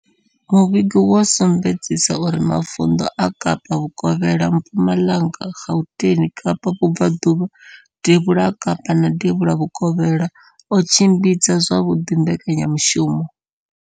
Muvhigo wo sumbedzisa uri mavundu a Kapa Vhukovhela, Mpumalanga, Gauteng, Kapa Vhubva ḓuvha, Devhula ha Kapa na Devhula Vhukovhela o tshimbidza zwavhuḓi mbekanya mushumo.